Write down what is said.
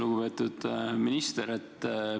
Lugupeetud minister!